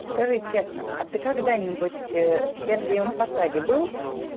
скажи честно а ты когда-нибудь в сергиевом посаде был